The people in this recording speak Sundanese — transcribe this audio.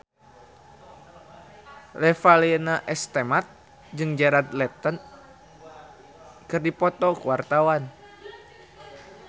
Revalina S. Temat jeung Jared Leto keur dipoto ku wartawan